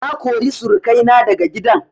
Na kori surukai na daga gidan